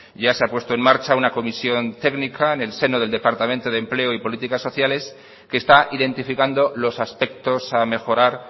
ya se ha puesto en marcha una comisión técnica en el seno del departamento de empleo y políticas sociales que está identificando los aspectos a mejorar